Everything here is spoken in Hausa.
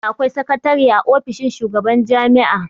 Dole akwai sakatare a ofishin shugaban jami'a